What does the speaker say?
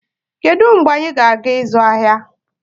Kedu mgbe anyị ga-aga ịzụ ahịa?